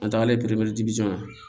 An tagalen la